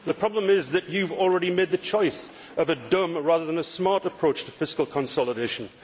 The problem is that you have already made the choice of a dumb rather than a smart approach to fiscal consolidation.